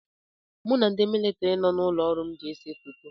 Mụ na ndị militiri nọ n'ụlọ ọrụ m ga ese foto.